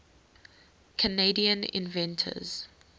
canadian inventors